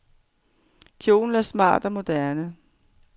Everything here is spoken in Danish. Kjolen er smart og moderne.